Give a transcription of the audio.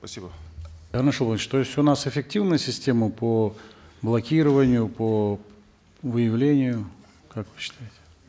спасибо то есть у нас эффективная система по блокированию по выявлению как вы считаете